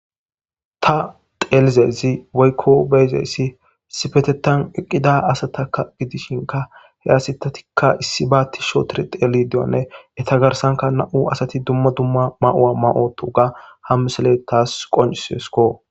Ta xeelizayssi woykko beiizayssi issippetetan eqqida assata giddishinkka he asati issiba tiishi ootidi xellishe diyyobane eeta garssanika nam'u asati dumma dumma mayo maayi uttoga ha missiley tas qonccissesiko.